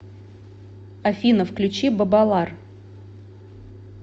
афина включи бабалар